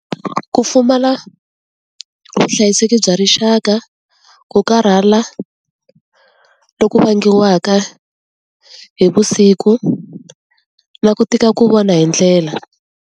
Ku pfumala vuhlayiseki bya rixaka, ku karhala loku vangiwaka hi vusiku, na ku tika ku vona hi ndlela.